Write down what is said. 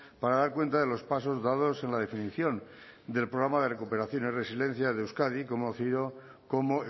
para dar cuenta de los pasos dados en la definición del programa de recuperación y resiliencia de euskadi conocido como